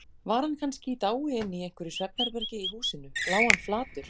Var hann kannski í dái inni í einhverju svefnherbergi í húsinu, lá hann flatur.